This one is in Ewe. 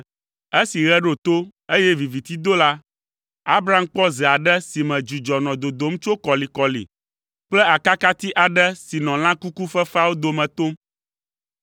Esi ɣe ɖo to, eye viviti do la, Abram kpɔ ze aɖe si me dzudzɔ nɔ dodom tso kɔlikɔli kple akakati aɖe si nɔ lã kuku fefeawo dome tom.